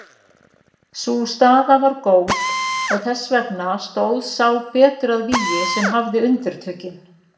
Sú staða var góð og þess vegna stóð sá betur að vígi sem hafði undirtökin.